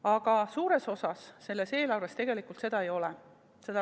Aga suures osas selles eelarves tegelikult seda ei ole.